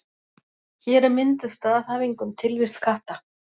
Hér er mynduð staðhæfing um tilvist katta.